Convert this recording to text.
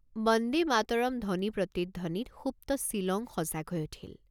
বন্দে মাতৰম্ ধ্বনিপ্ৰতিধ্বনিত সুপ্ত ছিলং সজাগ হৈ উঠিল।